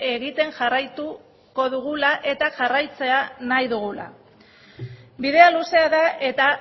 egiten jarraituko dugula eta jarraitzea nahi dugula bidea luzea da eta